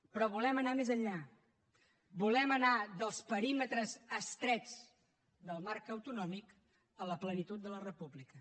però volem anar més enllà volem anar dels perímetres estrets del marc autonòmic a la plenitud de la república